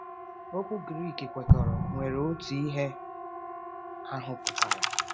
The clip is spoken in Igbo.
Okwu Greek kwekọrọ nwere otu ihe ahụ pụtara.